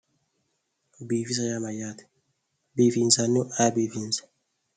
Biifisa yaa mayyaate? biifinsannihu ayee biifinsayi?